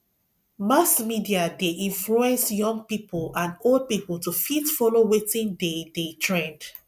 mass media de influence young pipo and old pipo to fit follow wetin de de trend